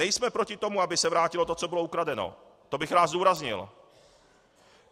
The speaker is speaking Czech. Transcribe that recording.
Nejsme proti tomu, aby se vrátilo to, co bylo ukradeno, to bych rád zdůraznil.